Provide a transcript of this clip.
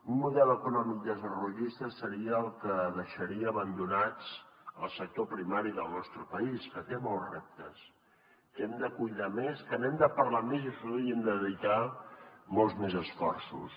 un model econòmic desarrollista seria el que deixaria abandonat el sector primari del nostre país que té molts reptes que hem de cuidar més que n’hem de parlar més i hi hauríem de dedicar molts més esforços